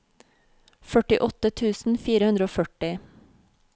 førtiåtte tusen fire hundre og førti